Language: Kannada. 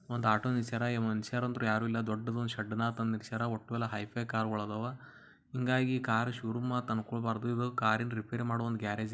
ಒಂದು ಆಟೋ ನಿಲ್ಲಿಸರ ಮನುಷ್ಯರಂತೂ ಯಾರು ಇಲ್ಲ ಡೊದ್ದೊಂದು ಶೆಡ್ನಾಗ ತಂದು ನಿಲ್ಲಿಸರಾ ಒಟ್ಟು ಹೈ ಫೈ ಕಾರುಗಳು ಇದಾವ ಹಾಗಂತ ಕಾರ್ ನ ಶೋರೂಮ್ ಅನುಕೋಬಾರದು ಇದು ಕಾರ್ ನ ರಿಪೈರಿ ಮಾಡುವ ಗ್ಯಾರೇಜ್ .